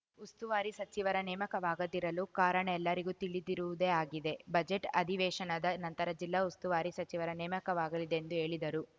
ಉಸ್ತುವಾರಿ ಸಚಿವರ ನೇಮಕವಾಗದಿರಲು ಕಾರಣ ಎಲ್ಲರಿಗೂ ತಿಳಿದಿರುವುದೇ ಆಗಿದೆ ಬಜೆಟ್‌ ಅಧಿವೇಶನದ ನಂತರ ಜಿಲ್ಲಾ ಉಸ್ತುವಾರಿ ಸಚಿವರ ನೇಮಕವಾಗಲಿದೆ ಎಂದು ಹೇಳಿದರು